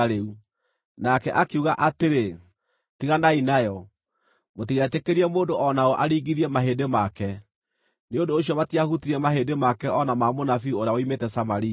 Nake akiuga atĩrĩ, “Tiganai nayo. Mũtigetĩkĩrie mũndũ o naũ aringithie mahĩndĩ make.” Nĩ ũndũ ũcio matiahutirie mahĩndĩ make o na ma mũnabii ũrĩa woimĩte Samaria.